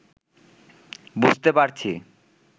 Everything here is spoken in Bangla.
বুঝতে পারছি